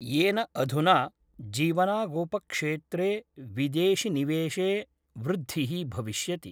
येन अधुना जीवनागोपक्षेत्रे विदेशिनिवेशे वृद्धिः भविष्यति।